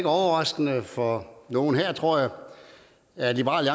overraskelse for nogen her tror jeg at liberal